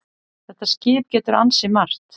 Þetta skip getur ansi margt.